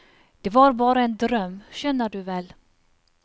Det var bare en drøm, skjønner du vel.